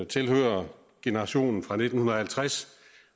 tilhører generationen fra nitten halvtreds